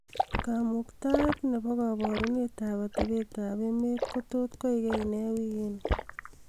kamuktaet nebo koborunet ab atebeet ab emet ko tot koigenee wigini